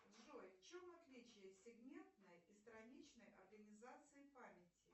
джой в чем отличие сегментной и страничной организации памяти